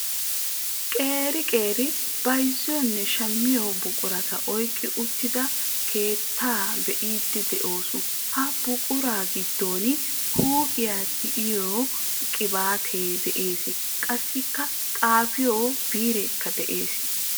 Qeri qeri bayzziyoonne shammiyoo buqurata oyqqi uttidaa keettaa be'iidi de'oos. ha buquraa giddon huuphphiyaa tiyettiyoo qibaatee de'ees. qassi xaafiyoo bireekka de'ees.